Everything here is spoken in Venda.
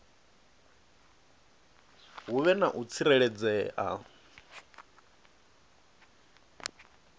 hu vhe na u tsireledzea